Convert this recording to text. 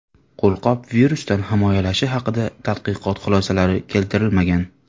Qo‘lqop virusdan himoyalashi haqida tadqiqot xulosalari keltirilmagan.